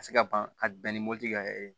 Ka se ka ban ka bɛn ni mopti ka yɛlɛ